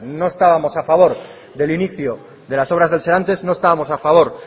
no estábamos a favor del inicio de las obras del serantes no estábamos a favor